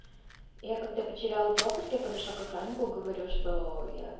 я когда потеряла пропуск я подошла к охраннику говорю чтоо я в